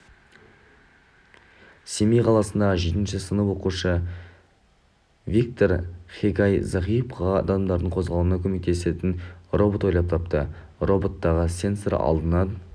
семей қаласындағы жетінші сынып оқушысывиктор хегай зағип адамдардың қозғалуына көмектесетін робот ойлап тапты роботтағы сенсор алдынан